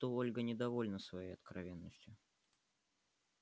будто ольга недовольна своей откровенностью